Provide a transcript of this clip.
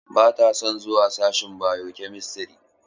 Ba ta son zuwa sashin bio-chemistry.